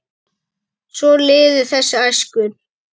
Svo liðu þessi æskuár.